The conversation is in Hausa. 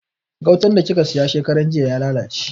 Gautan da kika siya shekarar jiya ya lalace